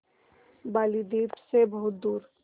बालीद्वीप सें बहुत दूर